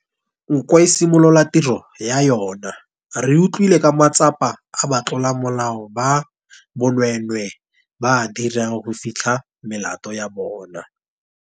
Nko e simolola tiro ya yona, re utlwile ka matsapa a ba tlolamolao ba bonweenwee ba a dirang go fitlha melato ya bona.